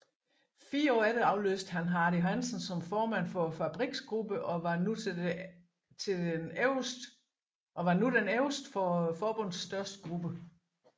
Fire år efter afløste han Hardy Hansen som formand for fabriksgruppen og var nu den øverste for forbundets største gruppe